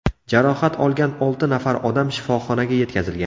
Jarohat olgan olti nafar odam shifoxonaga yetkazilgan.